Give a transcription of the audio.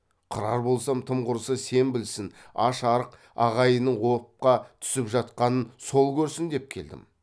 қырар болсам тым құрса сен білсін аш арық ағайынның опқа түсіп жатқанын сол көрсін деп келдім